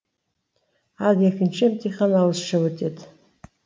ал екінші емтихан ауызша өтеді